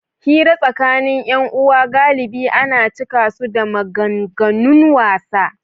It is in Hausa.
Hira tsakanin ’yan’uwa galibi ana cika su da maganganun wasa.